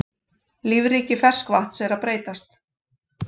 Lífríki ferskvatns að breytast